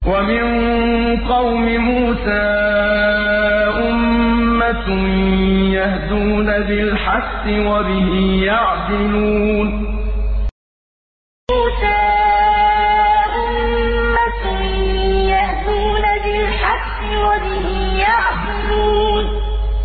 وَمِن قَوْمِ مُوسَىٰ أُمَّةٌ يَهْدُونَ بِالْحَقِّ وَبِهِ يَعْدِلُونَ وَمِن قَوْمِ مُوسَىٰ أُمَّةٌ يَهْدُونَ بِالْحَقِّ وَبِهِ يَعْدِلُونَ